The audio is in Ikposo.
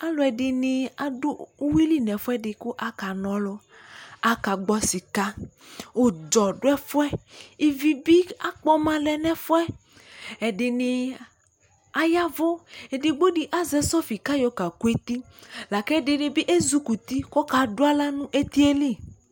Alu ɛdini adʋ uwili nɛfuɛdi, kʋ akanɔlʋAkagbɔ sikaUdzɔ duɛfuɛIvi bi akpɔma lɛ nɛfuɛƐdini ayavʋEdigbo di azɛ sɔfi kayɔ kakʋ etiLakʋ ɛdini bi ezukuti kɔkadʋ aɣla nʋ etie li